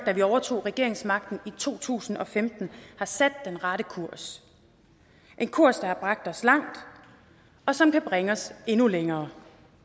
da vi overtog regeringsmagten i to tusind og femten har sat den rette kurs en kurs der har bragt os langt og som kan bringe os endnu længere